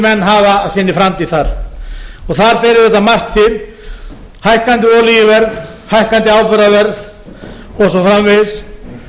menn hafa af sinni framtíð þar þar ber auðvitað margt til hækkandi olíuverð hækkandi áburðarverð og svo framvegis